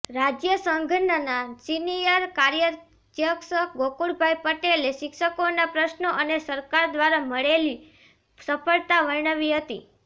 રાજ્ય સંઘના સિનિયર કાર્યધ્યક્ષ ગોકુળભાઇ પટેલે શિક્ષકોના પ્રશ્નો અને સરકાર દ્વારા મળેલી સફળતા વર્ણવી હતી